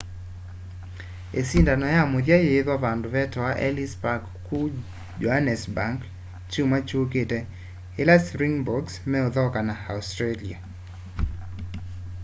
isindano ya muthya yiithwa vandu vetawa ellis park kuu johannesburg kyumwa kyukite ila springboks methauka na australia